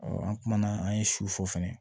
an kumana an ye su fɔ fɛnɛ